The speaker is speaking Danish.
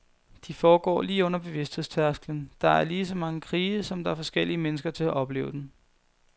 De foregår lige under bevidsthedstærsklen, der er ligeså mange krige, som der er forskellige mennesker til at opleve den.